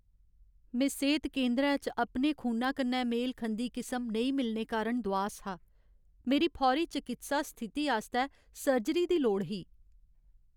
में सेह्त केंदरै च अपने खूनै कन्नै मेल खंदी किसम नेईं मिलने कारण दुआस हा। मेरी फौरी चकित्सा स्थिति आस्तै सर्जरी दी लोड़ ही।